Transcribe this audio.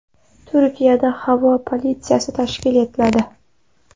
Turkiyada havo politsiyasi tashkil etiladi.